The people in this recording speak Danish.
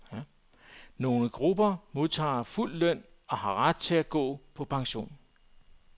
Nogle grupper modtager fuld løn og har ret til at gå på pension.